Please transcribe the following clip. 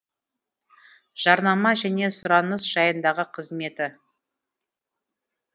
жарнама және сұраныс жайындағы қызметі